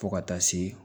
Fo ka taa se